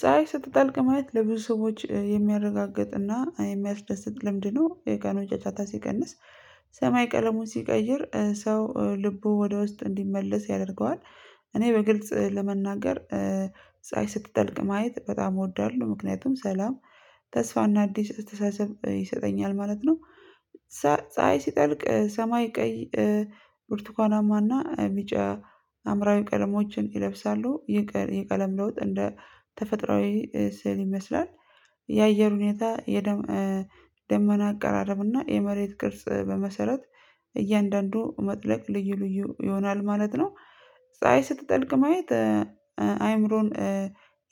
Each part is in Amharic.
ፀሀይ ስትጠልቅ ማየት ለብዙ ሰዎች የሚያረጋግጥና የሚያስደስት ልምድ ነው የቀኑ ጫጫታ ሲቀንስ ሰማይ ቀለሙን ሲቀይር ሰው ልቡ ወደ ውስጥ እንዲመለስ ያደርገዋል። እኔ በግልጽ ለመናገር ስትጠልቅ ማየት በጣም እወዳለሁ ምክንያቱም ሰላም ተስፋና አዲስ አተስተሳሰብ ይሰጠኛል ማለት ነው። ፀሀይ ሲጠልቅ ሰማይ ቀይ ብርቱካናማና ቢጫ ሀምራዊ ቀለሞችን ይለብሳሉ። የቀለም ለውጥ እንደ ተፈጥሮአዊ ስዕል ይመስላል። የአየር ሁኔታ የደመና አቀራረብና የመሬት ቅርጽ በመሰረት እያንዳንዱ መጥለቅ ልዩ ልዩ ይሆናል ማለት ነው። ፀሀይ ስትጠልቅ ማየት አይምሮን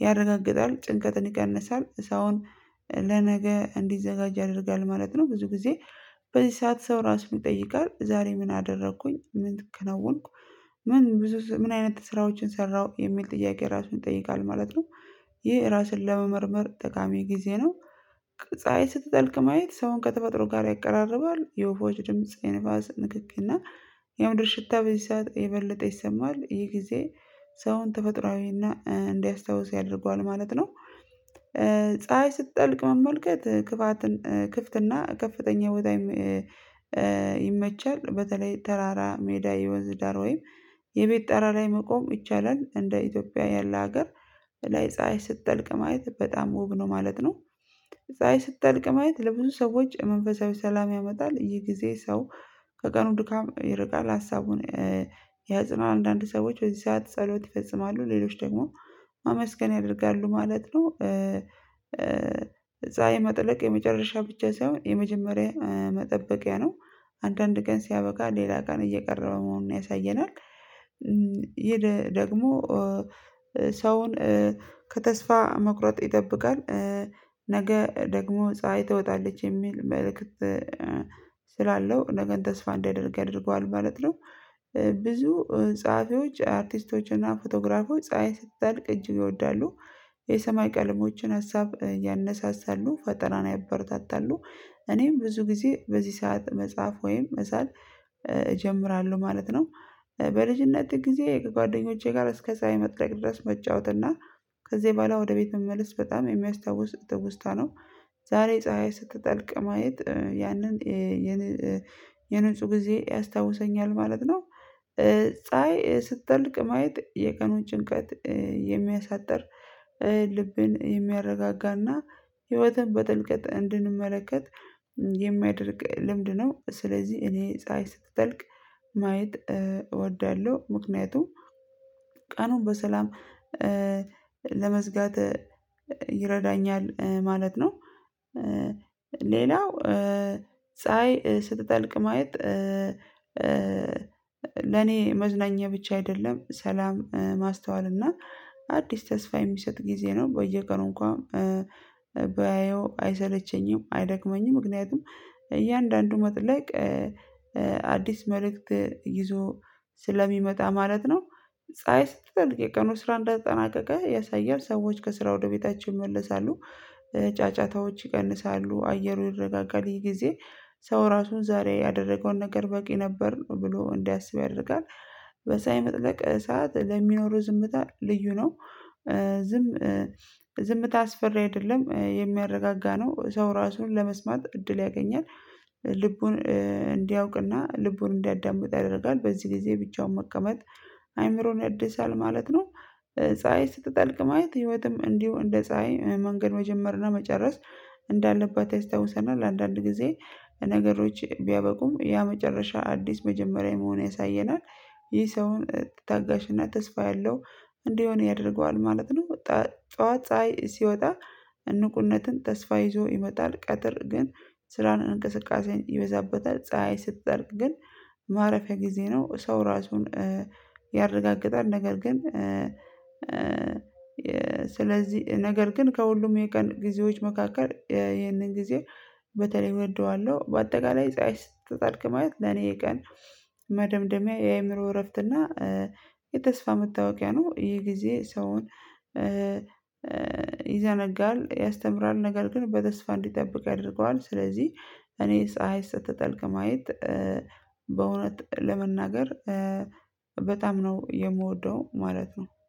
ያረጋግጣል ጭንቀትን ይቀንሳል ሰውን ለነገ እንዲዘጋጅ ያደርጋል ማለት ነው። ብዙ ጊዜ በዚህ ሰዓት ሰው ራሱን ይጠይቃል ዛሬ ምን አደረኩኝ ምን አከናወንኩ? ምን ብዙ ምን አይነት ስራዎችን ሰራሁ የሚል ጥያቄ ራሱን ይጠይቃል ማለት ነው። ይህ ራስን ለመመርመር ጠቃሚ ጊዜ ነው። ፀሀይ ስትጠልቅ ማየት ሰውን ከተፈጥሮ ጋር ያቀራርባል። የወፎች ድምጽ የንፋስ ንክኪና የምድር ሽታ በዚህ ሰዓት የበለጠ ይሰማል ይህ ጊዜ ሰውን ተፈጥሮአዊና እንዲያስታውስ ያደርገዋል ማለት ነው። ፀሀይ ስትጠልቅ መመልከት ክፍት እና ከፍተኛ ቦታ ይመቻል በተለይ ተራራ ሜዳ የወንዝ ዳር ወይም የቤት ጠራ ላይ መቆም ይቻላል። እንደ ኢትዮጵያ ያለ ሀገር ላይ ፀሀይ ስትጠልቅ ማየት በጣም ውብ ነው ማለት ነው። ፀሀይ ስትጠልቅ ማየት ለብዙ ሰዎች መንፈሳዊ ሰላም ያመጣል ይህ ጊዜ ሰው ከቀኑ ድካም ይርቃል ሀሳቡን ያጽነው አንዳንድ ሰዎች በዚ ሰዓት ጸሎት ይፈጽማሉ ሌሎች ደግሞ ማመስገን ያደርጋሉ ማለት ነው። ፀሀይ የመጥለቅ የመጨረሻ ብቻ ሳይሆን የመጀመሪያ መጠበቂያ ነው። አንዳንድ ቀን ሲያበቃ ሌላ ቀን እየቀረበ መሆኑን ያሳየናል። ይሄ ደግሞ ሰውን ከተስፋ መቁረጥ ይጠብቃል። ነገ ደግሞ ፀሀይ ትወጣለች የሚል መልእክት ስላለው ነገን ተስፋ እንዲያደርግ ያደርገዋል ማለት ነው። ብዙ ጸሀፊዎች አርቲስቶችና ፎቶግራፈሮች ፀሀይ ስትጠልቅ እጅግ ይወዳሉ። የሰማይ ቀለሞችን ሀሳብ ያነሳሳሉ ፈጠራን ያበረታታሉ። እኔም ብዙ ጊዜ በዚህ ሰዓት መጽሐፍ ወይም መሳል እጀምራለሁ ማለት ነው። በልጅነት ጊዜ ከጓደኞቼ ጋር እስከ ፀሀይ መጥለቅ ድረስ መጫወት እና ከዚህ በኋላ ወደ ቤት መመለስ በጣም የሚያስታውስ ትውስታ ነው። ዛሬ ፀሀይ ስትጠልቅ ማየት ያንን የንፁህ ጊዜ ያስታውሰኛል ማለት ነው። ፀሀይ ስትጠልቅ ማየት የቀኑን ጭንቀት የሚያሳጥር ልብን የሚያረጋጋና ህይወትን በጥልቀት እንድንመለከት የሚያደርግ ልምድ ነው። ስለዚህ እኔ ፀሀይ ስትጠልቅ ማየት እወዳለሁ ምክንያቱም ቀኑን በሰላም ለመዝጋት ይረዳኛል ማለት ነው። ሌላው ፀሀይ ስትጠልቅ ማየት ለኔ መዝናኛ ብቻ አይደለም። ሰላም ማስተዋል እና አዲስ ተስፋ የሚሰጥ ጊዜ ነው። በየቀኑ እንኳን ባየው አይሰለቸኝም አይደክመኝም። ምክንያቱም እያንዳንዱ መጥለቅ አዲስ መልእክት ይዞ ስለሚመጣ ማለት ነው። ፀሀይ ስትጠልቅ የቀኑ ስራ እንደተጠናቀቀ ያሳያል። ሰዎች ከስራ ወደ ቤታቸው ይመለሳሉ። ጫጫታዎች ይቀንሳሉ አየሩ ይረጋጋል ይሄ ጊዜ ሰው ራሱን ዛሬ ያደረገውን ነገር በቂ ነበር ነው ብሎ እንዲያስብ ያደርጋል። በፀሀይ መጥለቅ ሰዓት ለሚኖሩ ዝምታ ልዩ ነው። ዝም ዝምታ አስፈሪ አይደለም የሚያረጋጋ ነው። ሰው ራሱን ለመስማት እድል ያገኛል። ልቡን እንዲያውቅና ልቡን እንዲያዳምጥ ያደርጋል። በዚህ ጊዜ ብቻውን መቀመጥ አይምሮን ያድሳል ማለት ነው። ፀሀይ ስትጠልቅ ማየት ህይወትም እንዲሁ እንደ ፀሀይ መንገድ መጀመርናመጨረስ እንዳለባት ያስታውሰናል። አንዳንድ ጊዜ ነገሮች ቢያበቁም ያ መጨረሻ አዲስ መጀመሪያ መሆን ያሳየናል። ይህ ሰውን ታጋሽና ተስፋ ያለው እንዲሆን ያደርገዋል ማለት ነው። ጠዋት ፀሀይ ሲወጣ ንቁነትን ተስፋ ይዞ ይመጣል። ቀጥር ግን ስራናእንቅስቃሴ ይበዛበታል። ፀሀይ ስትጠልቅ ግን ማረፊያ ጊዜ ነው። ሰው ራሱን ያረጋግጣል። ነገር ግን ስለዚህ ነገር ግን ከሁሉም የቀን ጊዜዎች መካከል ይህንን ጊዜ በተለይ እወደዋለሁ። በአጠቃላይ ፀሀይ ስትልቅ ማየት ለኔ ቀን መደምደሚያ የአእምሮ እረፍት እና የተስፋ መታወቂያ ነው። ይሄ ጊዜ ሰውን ይዘነጋል ያስተምራል ነገር ግን በተስፋ እንዲጠብቅ ያደርገዋል። ስለዚህ እኔ ፀሀይ ስትጠልቅ ማየት ለመናገር በጣም ነው የምወደው ማለት ነው።